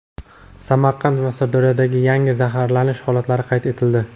Samarqand va Sirdaryoda yangi zararlanish holatlari qayd etildi.